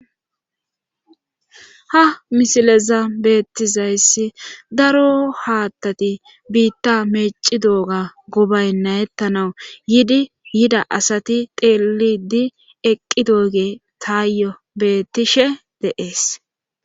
ha misileza beettizayssi daro haattati biitta meeci dooga gobay nayettanawu yiidi yida asati teelidi eqqi dooge taayyo bettishe de7ees